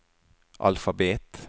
alfabet